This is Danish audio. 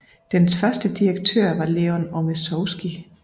Dens første direktør var Leon Ormezowski